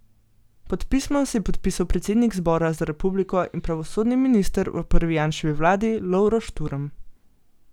Pod pismo se je podpisal predsednik Zbora za republiko in pravosodni minister v prvi Janševi vladi Lovro Šturm.